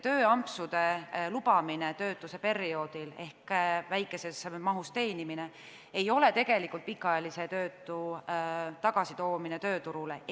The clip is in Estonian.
Tööampsude lubamine töötuse perioodil ehk väikeses mahus teenimine ei ole tegelikult pikaajalise töötu tagasitoomine tööturule.